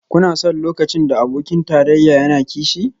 Kuna son lokacin da abokin tarayya yana kishi?